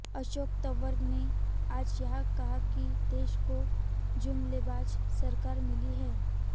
अशोक तंवर ने आज यहां कहा कि देश को जुमलेबाज सरकार मिली है